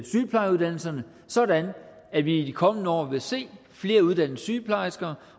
sygeplejeuddannelserne sådan at vi i de kommende år vil se flere uddannede sygeplejersker